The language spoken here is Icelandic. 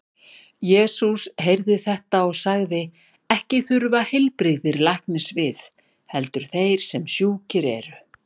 Jesús heyrði þetta og sagði: Ekki þurfa heilbrigðir læknis við, heldur þeir sem sjúkir eru.